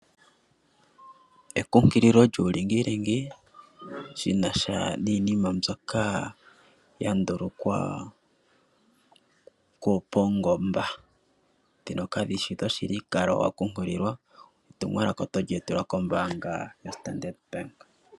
Ekunkililo lyulingilingi shina sha niinima mbyoka yandulukwapo paungomba dhono kadhishi dhoshili, nowu kale wakunkulilwa netumwalaka oto li etelwa kombanga yo Standardbank.